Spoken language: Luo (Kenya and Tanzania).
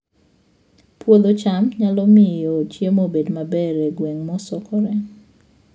Puodho cham nyalo miyo chiemo obed maber e gwenge mosokore